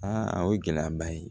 Aa a ye gɛlɛyaba ye